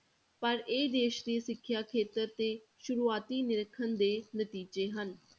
ਪਰ ਇਹ ਦੇਸ ਦੀ ਸਿੱਖਿਆ ਖੇਤਰ ਤੇ ਸ਼ੁਰੂਆਤੀ ਨਿਰੀਖਣ ਦੇ ਨਤੀਜੇ ਹਨ।